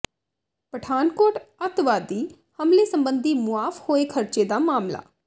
ਪਠਾਨਕੋਟ ਅੱਤਵਾਦੀ ਹਮਲੇ ਸਬੰਧੀ ਮੁਆਫ ਹੋਏ ਖਰਚੇ ਦਾ ਮਾਮਲਾ